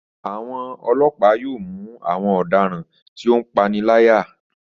Àwọn ọlọ́pa yóò mú àwọn ọ̀daràn tí ó ń paniláyà